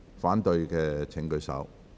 反對的請舉手。